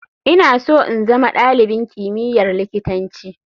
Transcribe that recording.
Ina so in zama dalibin kimiyyar likitanci.